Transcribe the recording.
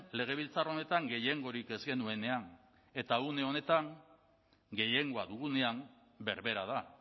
legebiltzar honetan gehiengorik ez genuenean eta une honetan gehiengoa dugunean berbera da